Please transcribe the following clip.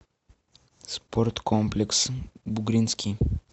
спорткомплекс бугринский